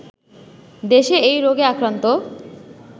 দেশে এই রোগে আক্রান্ত